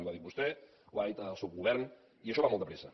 ho ha dit vostè ho ha dit el seu govern i això va molt de pressa